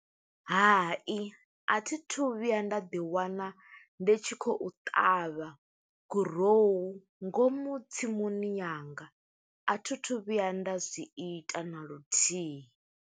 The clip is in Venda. Hai, a thi thu vhuya nda ḓi wana, ndi tshi khou ṱavha gurowu ngomu tsimuni yanga. A thi thu vhuya nda zwi ita naluthihi.